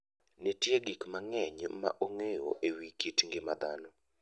Nitie gik mang'eny ma ong'eyo e wi kit ngima dhano.